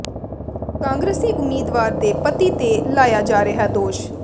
ਕਾਂਗਰਸੀ ਉਮੀਦਵਾਰ ਦੇ ਪਤੀ ਤੇ ਲਾਇਆ ਜਾ ਰਿਹੈ ਦੋਸ਼